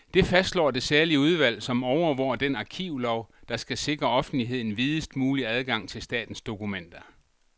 Det fastslår det særlige udvalg, som overvåger den arkivlov, der skal sikre offentligheden videst mulig adgang til statens dokumenter.